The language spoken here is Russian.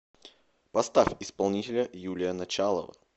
поставь исполнителя юлия началова